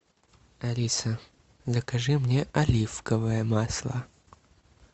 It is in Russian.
алиса закажи мне оливковое масло